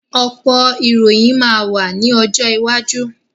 Ọ̀pọ̀ ìròyìn máa wá ní ọjọ́ iwájú